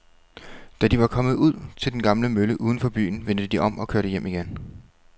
Da de var kommet ud til den gamle mølle uden for byen, vendte de om og kørte hjem igen.